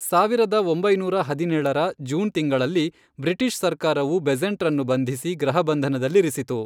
ಸಾವಿರದ ಒಂಬೈನೂರ ಹದಿನೇಳರ, ಜೂನ್ ತಿಂಗಳಲ್ಲಿ ಬ್ರಿಟಿಷ್ ಸರ್ಕಾರವು ಬೆಸೆಂಟ್ರನ್ನು ಬಂಧಿಸಿ ಗೃಹಬಂಧನದಲ್ಲಿರಿಸಿತು.